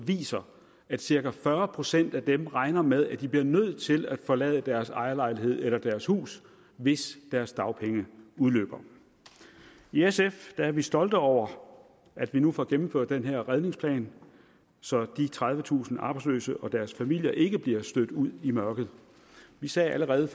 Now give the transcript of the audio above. viser at cirka fyrre procent af dem regner med at de bliver nødt til at forlade deres ejerlejlighed eller deres hus hvis deres dagpenge udløber i sf er vi stolte over at vi nu får gennemført den her redningsplan så de tredivetusind arbejdsløse og deres familier ikke bliver stødt ud i mørket vi sagde allerede